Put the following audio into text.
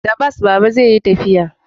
Da bas Baba zai yi tafiya